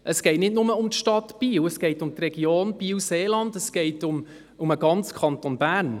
Es geht nicht nur um die Stadt Biel, sondern um die Region Biel-Seeland, es geht um den ganzen Kanton Bern.